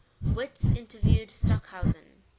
witts interviewed stockhausen